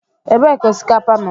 Ebee ka osikapa nọ?